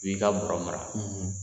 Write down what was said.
I bi ka baro mara